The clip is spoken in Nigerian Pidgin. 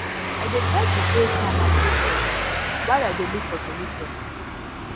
i dey try to stay calm and focus while i dey look for solution